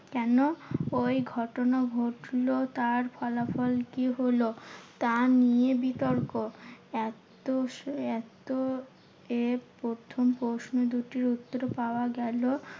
কেন ওই ঘটনা ঘটলো তার ফলাফল কি হলো? তা নিয়ে বিতর্ক। এত এত এর প্রথম প্রশ্ন দুটির উত্তর পাওয়া গেলো।